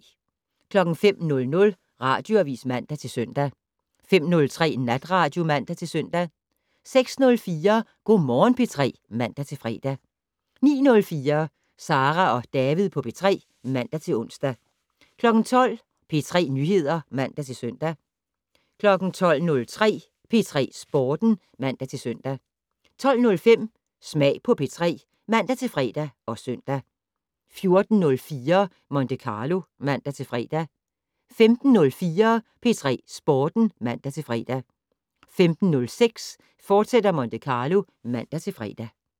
05:00: Radioavis (man-søn) 05:03: Natradio (man-søn) 06:04: Go' Morgen P3 (man-fre) 09:04: Sara og David på P3 (man-ons) 12:00: P3 Nyheder (man-søn) 12:03: P3 Sporten (man-søn) 12:05: Smag på P3 (man-fre og søn) 14:04: Monte Carlo (man-fre) 15:04: P3 Sporten (man-fre) 15:06: Monte Carlo, fortsat (man-fre)